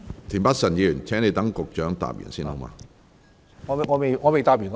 田北辰議員，請待局長作答完畢後才提問。